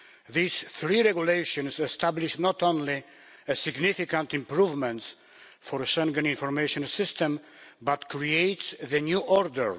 These three regulations establish not only significant improvements for the Schengen Information System but create the new order.